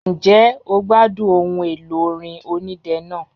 Ǹjẹ́ o gbádùn ohun èlò orin onídẹ náà?